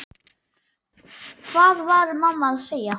Hvað var mamma að segja?